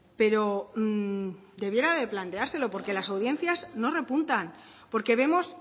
pero debiera de planteárselo porque las audiencias no repuntan porque vemos